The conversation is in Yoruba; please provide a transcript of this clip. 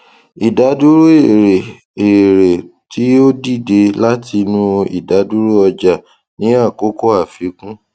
ìdádúró èrè èrè tí o dìde látinú ìdádúró ọjà ní àkókò àfíkún